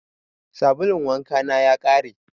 Sabulun wanka na ya ƙare.